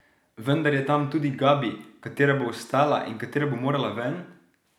Vendar je tam tudi Gabi, katera bo ostala in katera bo morala ven?